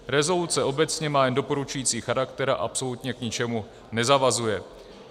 Rezoluce obecně má jen doporučující charakter a absolutně k ničemu nezavazuje.